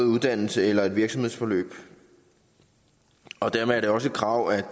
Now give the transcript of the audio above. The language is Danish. uddannelse eller et virksomhedsforløb og dermed også et krav om at